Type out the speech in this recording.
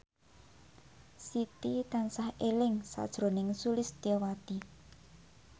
Siti tansah eling sakjroning Sulistyowati